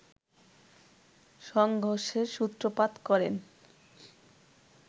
সংঘর্ষের সূত্রপাত করেন